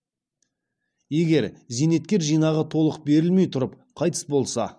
егер зейнеткер жинағы толық берілмей тұрып қайтыс болса